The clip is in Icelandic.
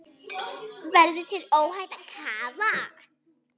Verður þér óhætt að kafa?